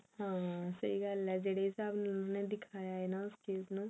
ਹਾਂ ਸਹੀ ਗੱਲ ਹੈ ਜਿਹੜੇ ਹਿਸਾਬ ਨਾਲ ਉਹਨੇ ਦਿਖਾਇਆ ਹੈ ਨਾ ਉਸ ਚੀਜ਼ ਨੂੰ